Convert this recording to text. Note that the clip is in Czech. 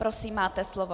Prosím, máte slovo.